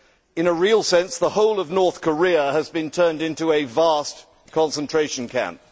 In a real sense, the whole of North Korea has been turned into a vast concentration camp.